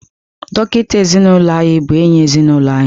Dọkịta ezinụlọ anyị bụ enyi ezinụlọ anyị.